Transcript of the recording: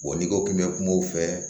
Wa n'i ko k'i bɛ kuma o fɛ